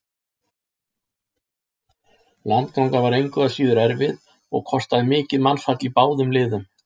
Landgangan var engu að síður erfið og kostaði mikið mannfall í báðum liðum.